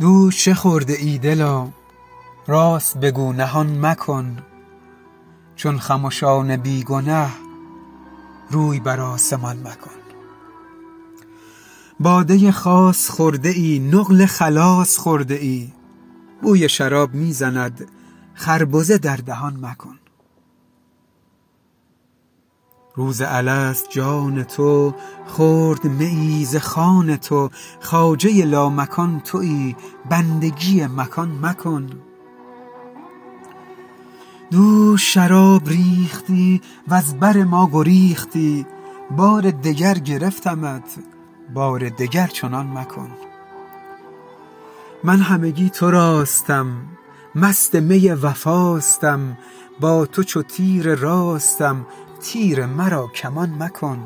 دوش چه خورده ای دلا راست بگو نهان مکن چون خمشان بی گنه روی بر آسمان مکن باده خاص خورده ای نقل خلاص خورده ای بوی شراب می زند خربزه در دهان مکن روز الست جان تو خورد میی ز خوان تو خواجه لامکان تویی بندگی مکان مکن دوش شراب ریختی وز بر ما گریختی بار دگر گرفتمت بار دگر چنان مکن من همگی تراستم مست می وفاستم با تو چو تیر راستم تیر مرا کمان مکن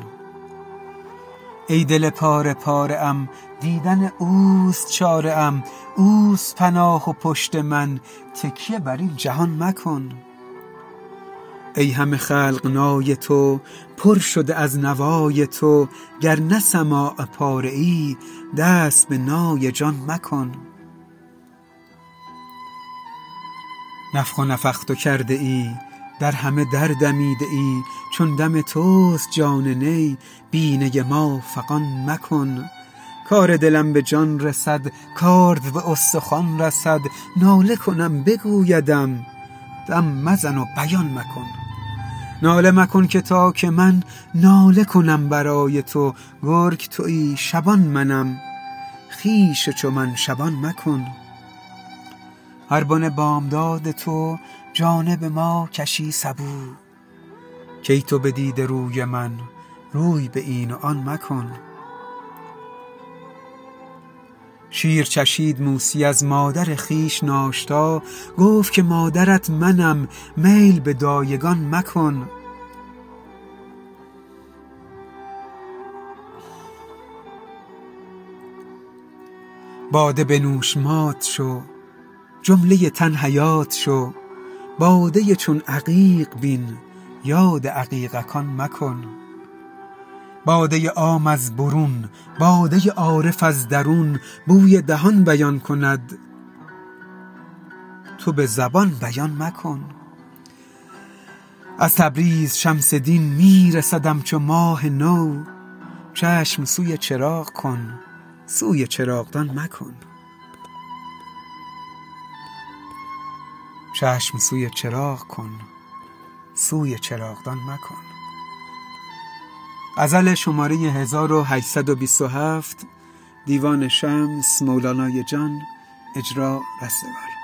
ای دل پاره پاره ام دیدن اوست چاره ام اوست پناه و پشت من تکیه بر این جهان مکن ای همه خلق نای تو پر شده از نوای تو گر نه سماع باره ای دست به نای جان مکن نفخ نفخت کرده ای در همه در دمیده ای چون دم توست جان نی بی نی ما فغان مکن کار دلم به جان رسد کارد به استخوان رسد ناله کنم بگویدم دم مزن و بیان مکن ناله مکن که تا که من ناله کنم برای تو گرگ تویی شبان منم خویش چو من شبان مکن هر بن بامداد تو جانب ما کشی سبو کای تو بدیده روی من روی به این و آن مکن شیر چشید موسی از مادر خویش ناشتا گفت که مادرت منم میل به دایگان مکن باده بنوش مات شو جمله تن حیات شو باده چون عقیق بین یاد عقیق کان مکن باده عام از برون باده عارف از درون بوی دهان بیان کند تو به زبان بیان مکن از تبریز شمس دین می رسدم چو ماه نو چشم سوی چراغ کن سوی چراغدان مکن